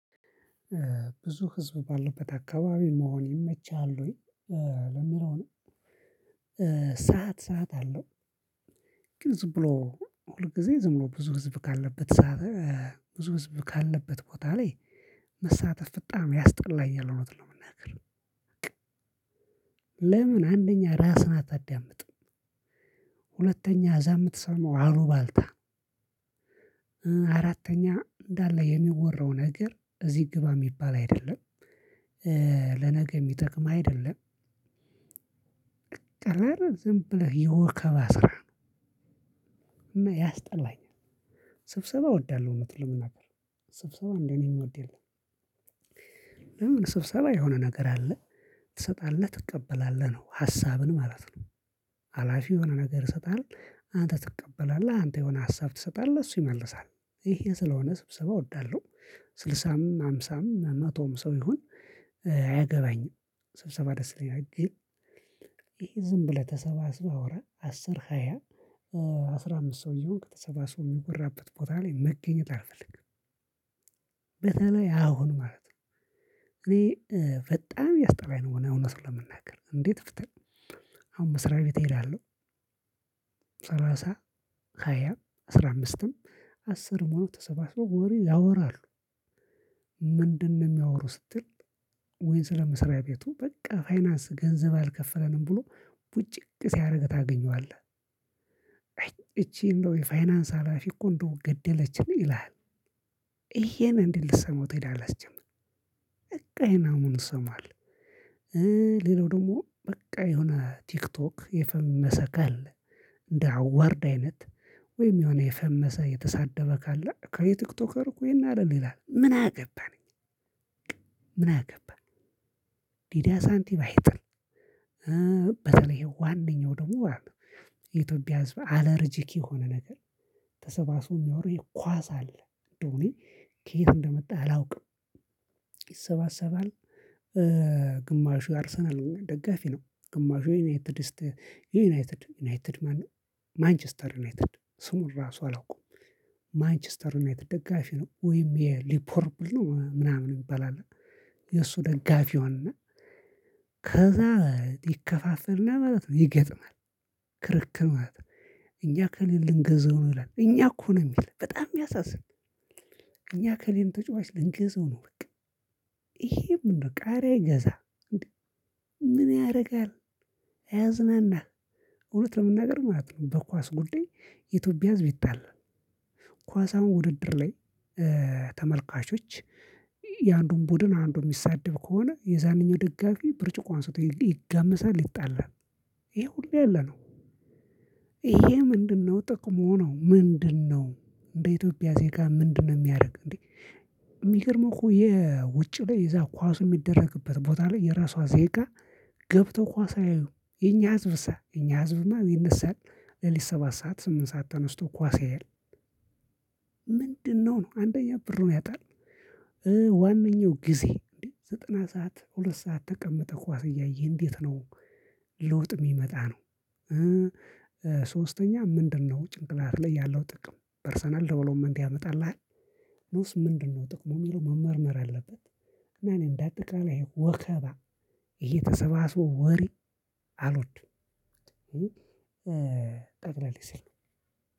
ብዙ ህዝብ ባለበት አካባቢ መሆን ይመችሃል ወይ ለሚለው ነው። ሰዓት ሰዓት አለው ግን ዝም ብሎ ሁል ጊዜ ዝም ብሎ ብዙ ህዝብ ካለበት ሰዓት ብዙ ህዝብ ካለበት ቦታ ላይ መሳተፍ በጣም ያስጠላኛልእውነቱን ለመናገር። በቃ። ለምን አንደኛ ራስህን አታዳምጥም ሁለተኛ እዛ የምትሰማው አሉባልታ አራተኛ እንዳለ የሚወራው ነገር እዚህ ግባ የሚባል አይደለም ለነገ የሚጠቅም አይደለም ጠላር ዝም ብለህ የወከበ ስራ ነው። እና ያስጠላኛል። ስብሰባ እወዳለሁ እውነቱን ለመናገር ስብሰባ እንደኔ የምወድ የለም ስብሰባ የሆነ ነገር አለ። ትሰጣለህ ትቀበላለህ ነው ሀሳብን ማለት ነው። አላፊው የሆነ ነገር ይሰጥሀል አንተ ትቀበላለህ አንተ የሆነ ሀሳብ ትሰጣለህ እሱ ይመልሳል። ይሄ ስለሆነ ስብሰባ እወዳለሁ። ስልሳም፣ ሃምሳም፣ መቶም ሰው ይሁን አያገባኝም ስብሰባ ደስ ይለኛል። ግን ይሄ ዝምብለህ ተሰባስበህ አስር ሃያ ኦር አስራ አምስት ሰው እየሆንክ ተሰባስቦ የሚወራበት ቦታ ላይ መገኘት አልፈልግም። በተለይ አሁን ማለት ነው እኔ በጣም ያስጠላኝ ነው የሆነ ለመናገር እንዴት እፍትህ አሁን መስሪያ ቤት እሄዳለሁ ሰላሳ፣ ሃያ፣ አስራ አምስትም አስርም ሁነው ተሰባስበው ወሬ ያወራሉ። ምንድነው የሚያወሩ ስትል ወይን ስለ መስሪያ ቤቱ በቃ ፋይናንስ ገንዘብ አልከፈለንም ብሎ ቡጭቅ ሲያደርግህ ታገኘዋለህ እቺ እንደው የፋይናንስ ሀላፊ እኮ እንደው ገደለችን ይልሀል። ይሄን እንዴት ልሰማው ትሄዳለህ ሲጀመር በቃ ይሄን አሙን እሰማለሁ ሌላው ደግሞ በቃ የሆነ ቲክቶክ የፈመሰ ካለ እንደ አዋርድ አይነት ወይም የሆነ የፈመሰ የተሳደበ ካለ እከሌቲክቶከር እኮ ይሄን አረገ ይላል ምን አገባን? በቃ ምን አገባን? ሊዳ ሳንቲም አይጥል በተለይ ዋነኛው ደግሞ የኢትዮጵያ ህዝብ አለርጂክ የሆነ ነገር ተሰባስቦ የሚያወራው ይሄ ኳስ አለ እንደው እኔ ከየት እንደመጣ አላውቅም ይሰባሰባል። ግማሹ አርሰናል ደጋፊ ነው። ግማሹ የዩናይትድ የዩናይትድ ዩናይትድ ማነው ማንችስተር ዩናይትድ ስሙን ራሱ አላውቀውም ማንችስተር ዩናይትድ ደጋፊ ነው። ወይም የሊፖርብል ነው ምናምን የሚባል አለ የእሱ ደጋፊ አለ ከዛ ይከፋፈልና ማለት ነው ይገጥማል ክርክር ማለት ነው እኛ እከሌን ልንገዛው ነው ይላል እኛ እኮ ነው የሚል በጣም የሚያሳዝን እኛ እከሌን ተጫዋች ልንገዛው ነው በቃ ይሄ ምንድነው ቃሪያ አይገዛም። ምን ያደርጋል? ያዝናናል። እውነት ለመናገር በኳስ ጉዳይ የኢትዮጲያ ህዝብ ይጣላል። ኳስ አሁን ውድድር ላይ ተመልካቾች የአንዱን ቡድን አንዱን የሚሳደብ ከሆነ የዛንኛው ደጋፊ ብርጭቆ አንስቶ ይጋመሳል ይጣላል። ይሄ ሁሉ ያለ ነው። ይሄ ምንድነው ጥቅሙ ነው። ምንድነው? እንደ ኢትዮጵያ ዜጋ ምንድነው የሚያደርግ እንዴ የሚገርመው እኮ የውጭ ላይ እዛ ኳሱ የሚደረግበት ቦታ ላይ የራሷ ዜጋ ገብተው ኳስ አያዪም የኛ ህዝብሳ የኛ ህዝብማ ይነሳል ሌሊት ሰባት ሰዓት ስምንት ሰዓት ተነስቶ ኳስ ያያል ምንድነው ነው። አንደኛ ብሩን ያጣል ዋነኛው ጊዜ ዘጠና ሰዓት ሁለት ሰዓት ተቀመጠህ ኳስ እያየህ እንዴት ነው ለውጥ የሚመጣ ነው ሶስተኛ ምንድነው ጭንቅላት ላይ ያለው ጥቅም ፐርሰናል ዲቨሎፕመንት ያመጣልሃል። ነውስ ምንድነው ጥቅሙ የሚለው መመርመር አለበት። እና እኔ እንዳጠቃላይ ወከባ ይሄ ተሰባስቦ ወሬ አልወድም። ጠቅለል ሲል